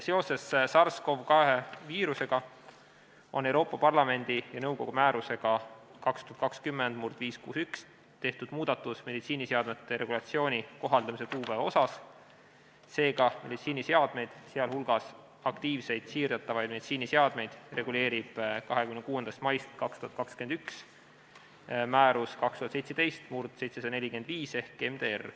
Seoses SARS-CoV-2 viirusega on Euroopa Parlamendi ja nõukogu määrusega 2020/561 tehtud muudatus meditsiiniseadmete regulatsiooni kohaldamise kuupäevas, seega meditsiiniseadmeid, sh aktiivseid siirdatavaid meditsiiniseadmeid reguleerib 26. maist 2021 määrus 2017/745 ehk MDR.